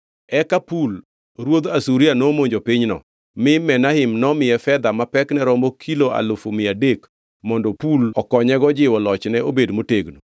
Eka Pul ruodh Asuria nomonjo pinyno, mi Menahem nomiye fedha ma pekne romo kilo alufu mia adek mondo Pul okonyego jiwo lochne obed motegno.